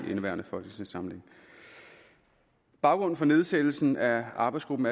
i indeværende folketingssamling baggrunden for nedsættelsen af arbejdsgruppen